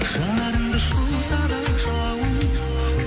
жанарымды шоқса да жалын